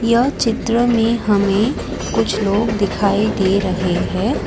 यह चित्र में हमें कुछ लोग दिखाई दे रहे हैं।